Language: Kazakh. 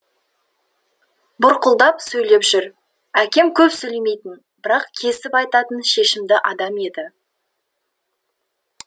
бұрқылдап сөйлеп жүр әкем көп сөйлемейтін бірақ кесіп айтатын шешімді адам еді